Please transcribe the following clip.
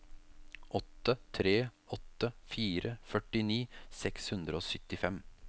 åtte tre åtte fire førtini seks hundre og syttifem